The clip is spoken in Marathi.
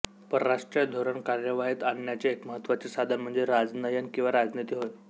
परराष्ट्रीय धोरण कार्यवाहीत आणण्याचे एक महत्त्वाचे साधन म्हणजे राजनय किंवा राजनीती होय